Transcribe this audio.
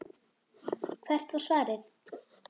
Hvert var svarið?